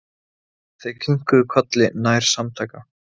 Þau kinkuðu kolli nær samtaka.